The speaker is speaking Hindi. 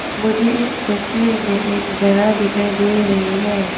मुझे इस तस्वीर में एक जगह दिखाई दे रही है।